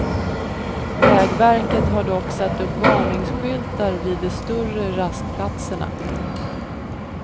Vägverket har dock satt upp varningsskyltar vid de större rastplatserna.